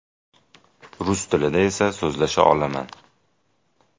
Rus tilida esa so‘zlasha olaman.